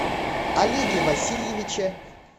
олеге васильевиче